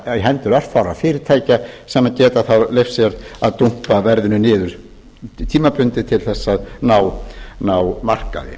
í hendur örfárra fyrirtækja sem geta þá leyft sér að dumpa verðinu niður tímabundið til þess að ná markaði